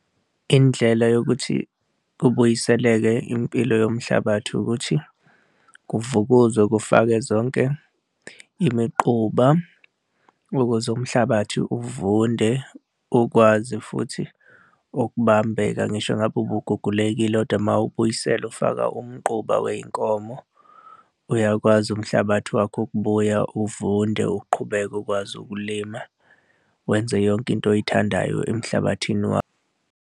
Indlela yokuthi kubuyiseleke impilo yomhlabathi ukuthi kuvukuzwe kufakwe zonke imiquba ukuze umhlabathi uvunde ukwazi futhi ukubambeka ngisho ngabe ubugugulekile kodwa uma uwubuyisela ufaka umquba wey'nkomo uyakwazi umhlabathi wakho ukubuya uvunde uqhubeke ukwazi ukulima, wenze yonke into oyithandayo emhlabathini wakho.